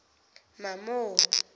mamo